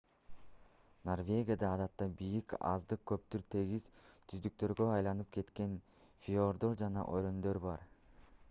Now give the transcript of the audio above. норвегияда адатта бийик аздыр-көптүр тегиз түздүктөргө айланып кеткен фьорддор жана өрөөндөр бар